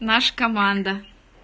наша команда